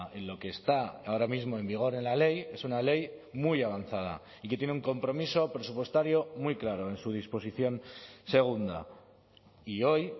en lo que está ahora mismo en vigor en la ley es una ley muy avanzada y que tiene un compromiso presupuestario muy claro en su disposición segunda y hoy